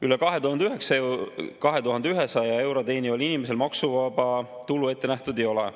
Üle 2100 euro teenival inimesel maksuvaba tulu ette nähtud ei ole.